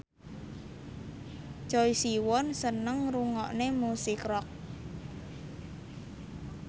Choi Siwon seneng ngrungokne musik rock